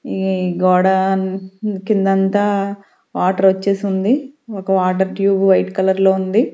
ఈ గోడ కిందంతా వాటర్ వచ్చేసి ఉంది ఒక వాటర్ ట్యూబ్ వైట్ కలర్ లో ఉంది.